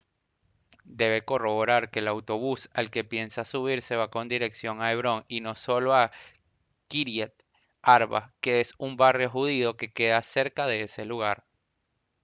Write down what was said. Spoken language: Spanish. debe corroborar que el autobús al que piensa subirse va con dirección a hebrón y no solo a kyriat arba que es un barrio judío que queda cerca de ese lugar